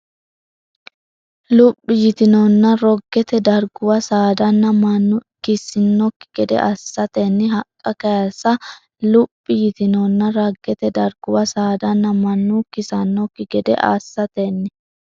Luphi yitinonna roggete darguwa saadanna mannu kisannokki gede assatenni haqqa kayisa Luphi yitinonna roggete darguwa saadanna mannu kisannokki gede assatenni.